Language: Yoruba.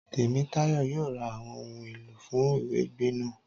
Tèmítáyọ̀ yóò ra àwọn ohun èlò fún ìwẹgbẹ́ náà